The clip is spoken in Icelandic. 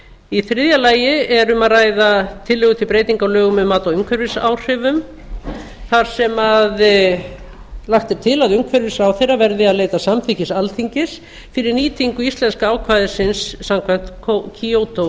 í þriðja lagi er um að ræða tillögu til breytinga á lögum um mat á umhverfisáhrifum þar sem lagt er til að umhverfisráðherra verði að leita samþykkis alþingis fyrir nýtingu íslenska ákvæðisins samkvæmt kyoto